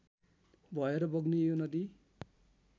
भएर बग्ने यो नदी